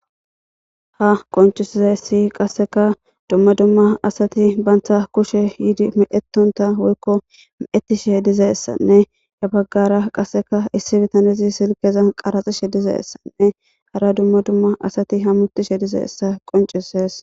ha qoncisizessi qasseka dumma dumma asati baantha kushe yidi midhetonta woykko meettishe dizeessanne ya baggara qasseka issi bitanezi silkeza qaraxishe dizeessanne hara dumma dumma asati ha mutishe dizeessa qoncisees